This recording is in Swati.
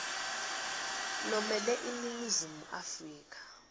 lomele iningizimu afrika